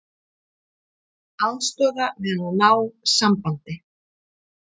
Aðstoða við að ná sambandi